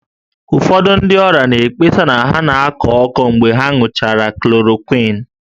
Ụfọdụ ndị ọrịa na-ekpesa na ha na-akọ ọkọ mgbe ha ṅụchara chloroquine